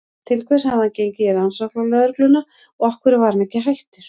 Til hvers hafði hann gengið í Rannsóknarlögregluna og af hverju var hann ekki hættur?